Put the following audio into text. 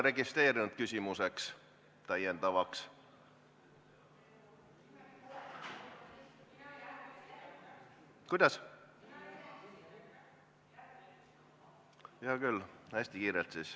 Aitäh, koosoleku juhataja!